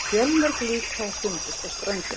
Fjölmörg lík hafa fundist á ströndinni